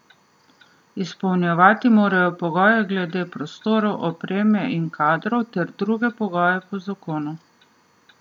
Izpolnjevati morajo pogoje glede prostorov, opreme in kadrov ter druge pogoje po zakonu.